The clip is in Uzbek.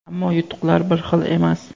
ammo yutuqlar bir xil emas.